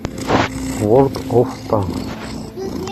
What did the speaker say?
ворлд оф танкс